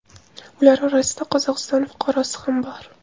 Ular orasida Qozog‘iston fuqarosi ham bor.